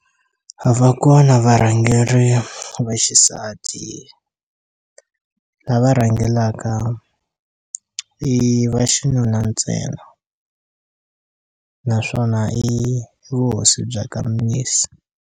A va kona varhangeri va xisati lava rhangelaka i va xinuna ntsena naswona i vuhosi bya ka Mnisi.